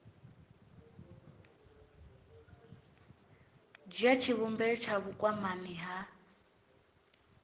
dzhia tshivhumbeo tsha vhukwamani ha